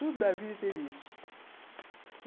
Toda a vida teve isso.